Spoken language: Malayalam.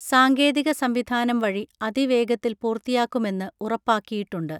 സാങ്കേതിക സംവിധാനം വഴി അതിവേഗത്തിൽ പൂർത്തിയാക്കുമെന്ന് ഉറപ്പാക്കിയിട്ടുണ്ട്